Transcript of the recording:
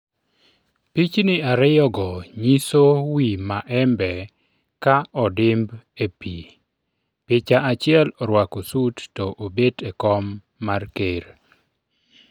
pichni ariyo go nyiso wi Maembe ka odimb e pi picha achiel orwako sut to obet e kom mar ker